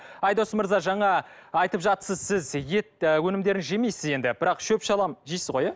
айдос мырза жаңа айтып жатырсыз сіз ет і өнімдерін жемейсіз енді бірақ шөп шалам жейсіз ғой иә